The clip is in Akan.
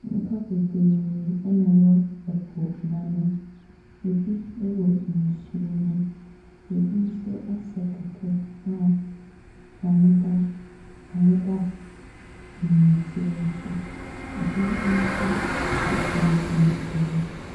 Nnipa bebree ɛna wɔ ɛpo n'ano. Ɛbi ɛwɔ nsuo nem, ɛbi nso asɛ kɛtɛ a ɔmo da nnɛteɛ no so, ɛbi nso ɛgyinagyina ɛhɔ.